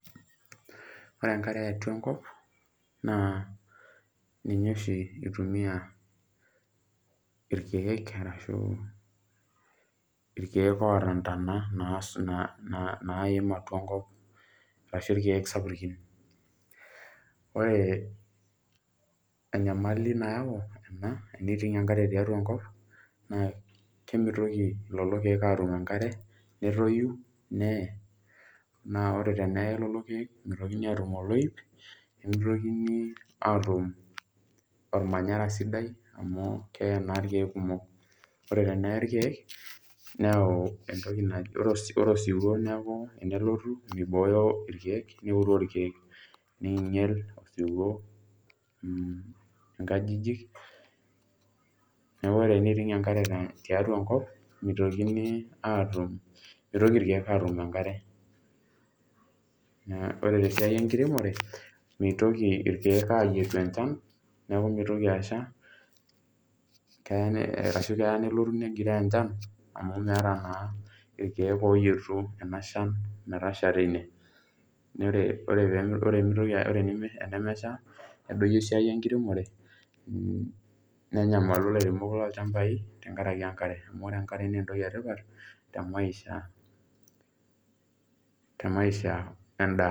Ore enkare eatua enkop naa ninye oshi eitumiya irkiek arashu irkiek oota intana naim atua enkop arashu irkiek sapukin. Ore enyamali nayau ena, eneiting' enkare tiatua enkop naa kemeitoki lelo irkiek aatum enkare, netoiyu naa ore teneyei lelo irkie meitoki aatum oloip, nemeitokini aatum olmanyara sidai amu keyei naa irkiek sidai. Ore teniyei irkiek neyau entoki naji ore osiwuo naaku tenelotu meibooyo irkiek, neuroo irkiek, neinyal esiwuo inkajijik, neaku ore eneiting enkare tiatua enkop meitokini aatum, meitoki irkiek aatum enkare, naa ore te siai enkiremore meitokini irkiek aayetu enchan, neaku meitoki asha, keya ashu keya nelotu enkiti inchan amu meeta naa irkiek ooyetu ena inshan metasha teine, naa ore tenemesha nedoiyio siai enkiremore, nenyamalu ilairemok loo ilchambai tengaraki enkare, amu ore enkare naa entoki etipat temaisha, temaisha endaa.